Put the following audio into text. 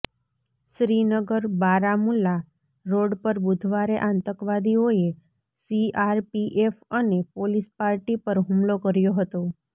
Srinagar Baramulla road પર બુધવારે આતંકવાદીઓએ સીઆરપીએફ અને પોલીસ પાર્ટી પર હુમલો કર્યો હતો